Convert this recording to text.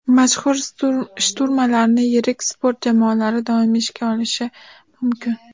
Mashhur shturmanlarni yirik sport jamoalari doimiy ishga olishi mumkin.